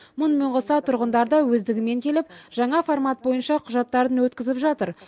мұнымен қоса тұрғындар да өздігінен келіп жаңа формат бойынша құжаттарын өткізіп жатыр